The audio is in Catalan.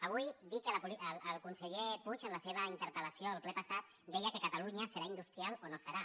avui dir que el conseller puig en la seva interpel·lació al ple passat deia que catalunya serà industrial o no serà